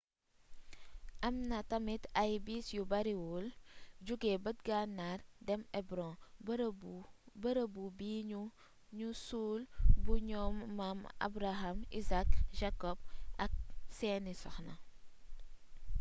am na tamit ay bis yu bariwul jóge bët gannaar dem hebron bërëbu bi nu suul bu ñoom maam abraham isaac jacob ak seeni soxna